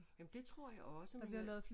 Jamen det tror jeg også men